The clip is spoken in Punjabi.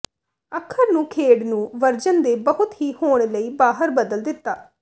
ਅੱਖਰ ਨੂੰ ਖੇਡ ਨੂੰ ਵਰਜਨ ਦੇ ਬਹੁਤ ਹੀ ਹੋਣ ਲਈ ਬਾਹਰ ਬਦਲ ਦਿੱਤਾ